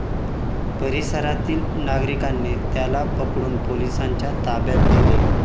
परिसरातील नागरिकांनी त्याला पकडून पोलिसांच्या ताब्यात दिले.